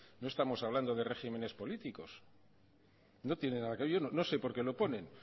no estamos hablando de regímenes políticos no tiene nada yo no sé por qué lo ponen